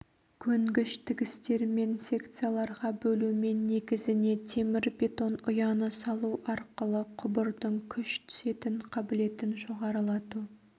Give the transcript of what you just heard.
көнгіш тігістермен секцияларға бөлумен негізіне темірбетон ұяны салу арқылы құбырдың күш түсетін қабілетін жоғарылату